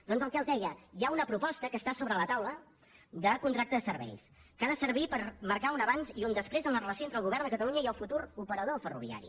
doncs el que els deia hi ha una proposta que està sobre la taula de contracte de serveis que ha de servir per marcar un abans i un després en la relació entre el govern de catalunya i el futur operador ferroviari